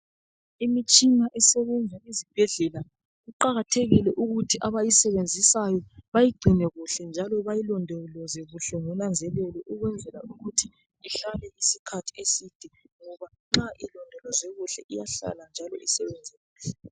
Imitshina esebenza esibhedlela kuqakathekile ukuthi abayisebenzisayo bayigcine kuhle njalo bayilondoloze kuhle ngonanzelelo ukwenzela ukuthi ihlale isikhathi eside ngoba nxa ilondolozwe kuhle iyahlala isikhathi eside.